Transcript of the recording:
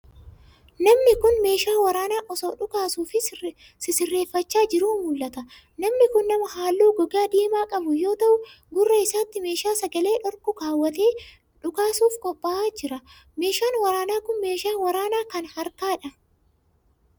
Namni kun, meeshaa waraanaa osoo dhukaasuuf sisirreeffachaa jiruu mul'ata. Namni kun, nama haalluu gogaa diimaa qabu yoo ta'u, gurra isaatti meeshaa sagalee dhorku kaawwatee dhukaasuuf qopha'aa jiru. Meeshaan waraanaa kun, meeshaa waraanaa kan harkaa dha.